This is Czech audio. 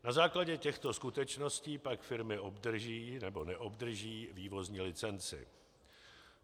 Na základě těchto skutečností pak firmy obdrží nebo neobdrží vývozní licenci.